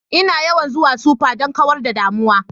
Ina yawan zuwa supa don kawar da damuwa